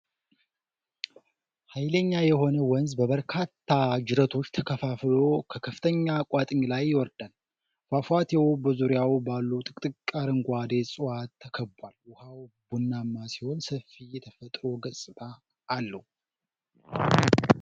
ኃይለኛ የሆነ ወንዝ በበርካታ ጅረቶች ተከፋፍሎ ከከፍተኛ ቋጥኝ ላይ ይወርዳል። ፏፏቴው በዙሪያው ባሉ ጥቅጥቅ አረንጓዴ ዕፅዋት ተከቧል፤ ውሃው ቡናማ ሲሆን ሰፊ የተፈጥሮ ገጽታ አለው።